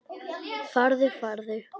Farðu, farðu.